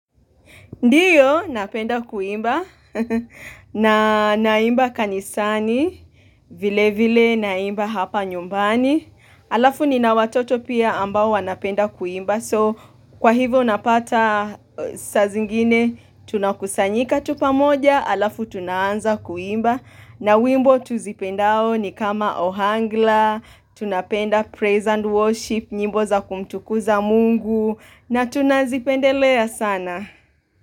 Ndiyo, napenda kuimba, na naimba kanisani, vile vile naimba hapa nyumbani, Halafu nina watoto pia ambao wanapenda kuimba, so kwa hivyo napata saa zingine, tunakusanyika tu pamoja, halafu tunaanza kuimba, na wimbo tuzipendao ni kama ohangla, tunapenda praise and worship, nyimbo za kumtukuza mungu, na tunazipendelea sana.